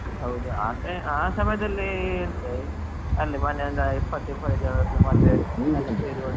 ಹೌದು ಆ ಸಮಯದಲ್ಲಿ ಎಂತ ಅಲ್ಲೇ ಮೊನ್ನೆ ಒಂದು ಇಪತ್ತು ಇಪತ್ತಯ್ದು ಜನರ ಮದುವೆ .